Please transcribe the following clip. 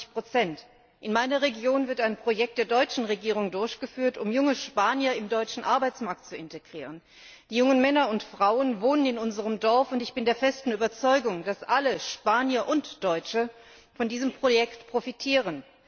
23 In meiner Region wird ein Projekt der deutschen Regierung durchgeführt, um junge Spanier im deutschen Arbeitsmarkt zu integrieren. Die jungen Männer und Frauen wohnen in unserem Dorf, und ich bin der festen Überzeugung, dass alle Spanier und Deutsche von diesem Projekt profitieren.